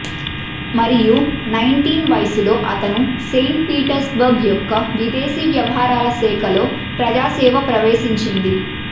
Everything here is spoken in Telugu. మరియు నైన్టీన్ వయస్సు లో అతను సెయింట్ పీటర్స్బర్గ్ యొక్క విదేశీ వ్యవహారాల శాఖ లో ప్రజా సేవ ప్రవేశించింది